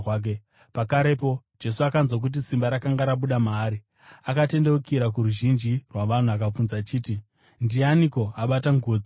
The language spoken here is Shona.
Pakarepo Jesu akanzwa kuti simba rakanga rabuda maari. Akatendeukira kuruzhinji rwavanhu akabvunza achiti, “Ndianiko abata nguo dzangu?”